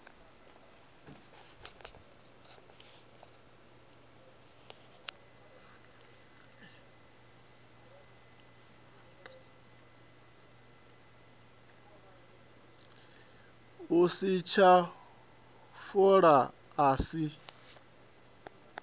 u litsha fola a si